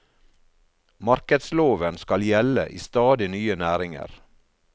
Markedsloven skal gjelde i stadig nye næringer.